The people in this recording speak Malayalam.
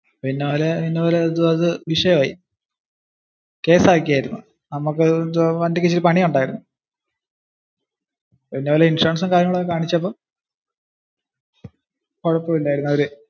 അത് ഒരു വിഷയം ആയി. കേസ് ആകിയായിരുന്നു. നമ്മക് വണ്ടിക് ഇച്ചിരി പണി ഉണ്ടായിരുന്നു.